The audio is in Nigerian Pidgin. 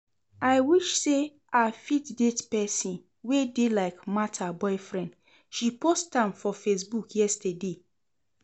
I wish say I fit date person wey dey like Martha boyfriend, she post am for facebook yesterday